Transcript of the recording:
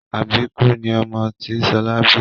Àbíkú ni ọmọ tí Ṣọlá bí